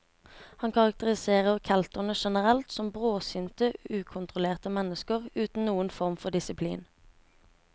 Han karakteriserer kelterne generelt som bråsinte, ukontrollerte mennesker uten noen form for disiplin.